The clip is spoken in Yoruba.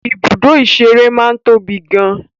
Ibùdó ìṣeré máa ń tóbi gan an.